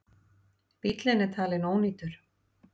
Bíllinn er talin ónýtur.